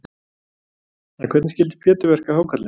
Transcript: En hvernig skyldi Pétur verka hákarlinn?